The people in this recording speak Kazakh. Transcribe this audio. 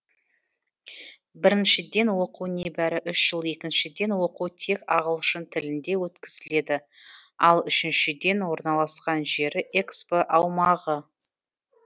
біріншіден оқу небәрі үш жыл екіншіден оқу тек ағылшын тілінде өткізіледі ал үшіншіден орналасқан жері экспо аумағы